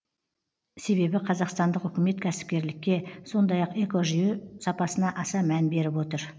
себебі қазақстандық үкімет кәсіпкерлікке сондай ақ экожүйе сапасына аса мән беріп отыр